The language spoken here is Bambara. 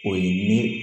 O ye ne